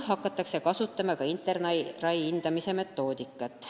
Hakatakse kasutama InterRAI hindamise metoodikat.